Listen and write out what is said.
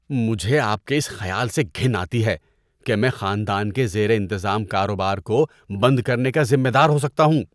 مجھے آپ کے اس خیال سے گھن آتی ہے کہ میں خاندان کے زیر انتظام کاروبار کو بند کرنے کا ذمہ دار ہو سکتا ہوں۔